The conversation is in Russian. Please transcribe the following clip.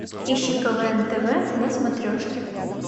ищи квн тв на смотрешке